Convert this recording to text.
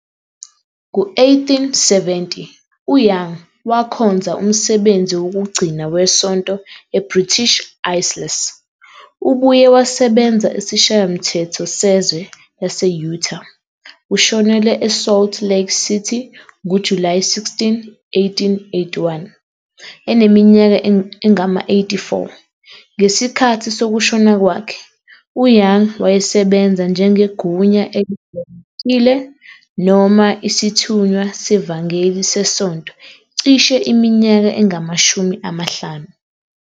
Ngo-1870, u-Young wakhonza umsebenzi wokugcina wesonto eBritish Isles. Ubuye wasebenza esiShayamthetho Sezwe Lase-Utah. Ushonele eSalt Lake City ngoJulayi 16, 1881 eneminyaka engama-84. Ngesikhathi sokushona kwakhe, uYoung wayesebenze njengegunya elijwayelekile noma isithunywa sevangeli sesonto cishe iminyaka engamashumi amahlanu.